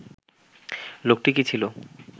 লোকটি কী ছিল